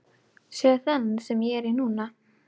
Sjáðu þennan sem ég er í núna?